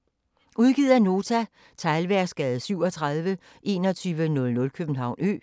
Udgivet af Nota Teglværksgade 37 2100 København Ø